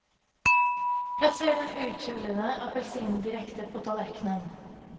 Plasser den uthulede appelsinen direkte på tallerkenen.